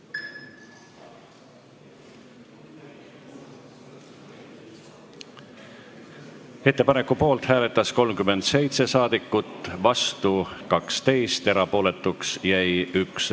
Hääletustulemused Ettepaneku poolt hääletas 37 Riigikogu liiget, vastu 12, erapooletuks jäi 1.